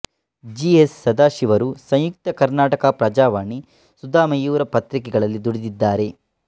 G S ಸದಾಶಿವರು ಸಂಯುಕ್ತ ಕರ್ನಾಟಕ ಪ್ರಜಾವಾಣಿ ಸುಧಾ ಮಯೂರ ಪತ್ರಿಕೆಗಳಲ್ಲಿ ದುಡಿದಿದ್ದಾರೆ